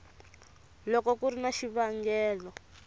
loko ku ri na xivangelo